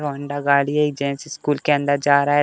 Hero Honda गाड़ी है। एक जेंट्स स्कूल के अंदर जा रहा --